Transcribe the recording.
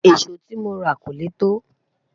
èso tí móra kò lẹ to